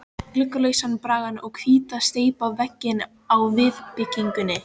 Gluggalausan braggann og hvíta, steypta veggina á viðbyggingunni.